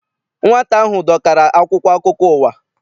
Nwata ahụ dọkara akwụkwọ akụkọ ụwa.